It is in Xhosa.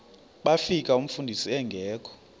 bafika umfundisi engekho